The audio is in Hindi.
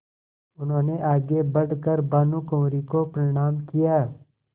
उन्होंने आगे बढ़ कर भानुकुँवरि को प्रणाम किया